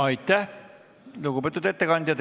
Aitäh, lugupeetud ettekandja!